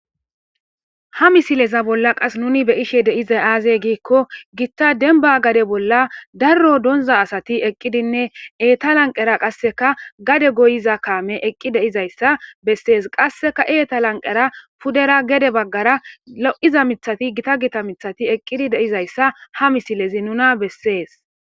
Ha misileza bolla qas nuni be ishe deiza aazey giikko gitta denba gade bolla darro donza asati eqqidinne eeta lanqera qasseka gade goyiza kaame eqqi deizayssa bessees qasseka eeta lanqera pudera gede baggara lo7iza mithati gita gita mithati eqqidi deizayssa ha misilezi nuna bessees.